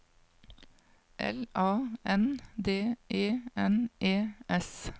L A N D E N E S